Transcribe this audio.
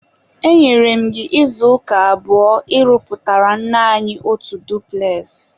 enyere m gị izuụka abụọ ịrụpụtara nne anyi otu dupules!